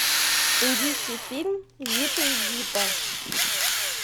индийский фильм зита и гита